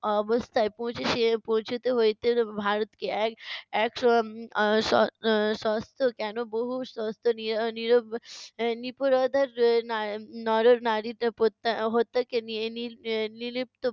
অবস্থায় পৌছিশে~ পৌঁছোতে হইতে ভারতকে, এক এক এর উম আহ স~ আহ আহ সস্ত কেন, বহু সস্ত নী~ নীরব এর নিপীড়তার এর না~ নর-নারীদের পত্যা~ হত্যাকে নি~ নির~ নির্লীপ্ত